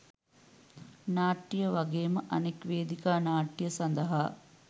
නාට්‍ය වගේම අනෙක් වේදිකා නාට්‍ය සඳහා